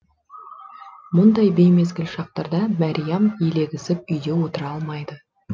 мұндай беймезгіл шақтарда мәриям елегізіп үйде отыра алмайды